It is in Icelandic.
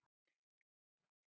Ef. lands barns ríkis